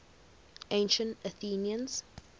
ancient athenians